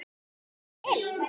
Heitir hann Bill?